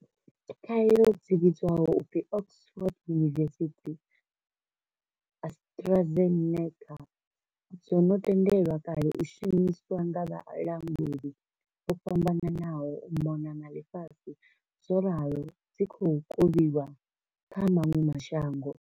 Khaelo dzi vhidzwaho u pfi Oxford University-AstraZeneca dzo no tendelwa kale u shumiswa nga vhalanguli vho fhambananaho u mona na ḽifhasi zworalo dzi khou kovhiwa kha maṅwe ma shango.